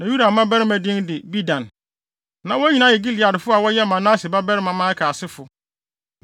Na Ulam babarima din de: Bedan. Na wɔn nyinaa yɛ Gileadfo a wɔyɛ Manase babarima Makir asefo.